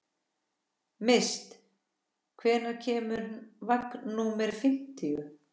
Mist, hvenær kemur vagn númer fimmtíu?